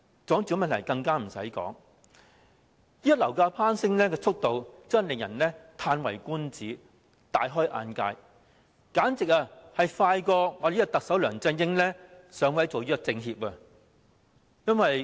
住屋問題更不消說，現時樓價攀升的速度真的令人嘆為觀止、大開眼界，簡直比特首梁振英上位做政協副主席還要快。